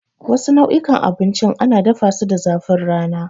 Wasu nau'ikan abincin ana dafasu da zafin rana.